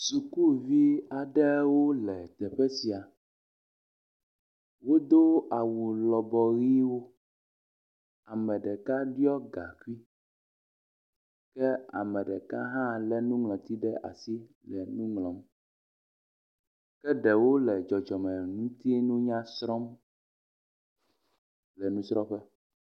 Sukuvi aɖewo le teƒe sia, wodó awu lɔbɔ ɣiwo ameɖeka ɖiɔ gakui ke ameɖeka hã le nuŋlɔti ɖe asi le nuŋlɔm ke ɖewo le dzɔdzɔmenutinunya srɔm le nusrɔƒe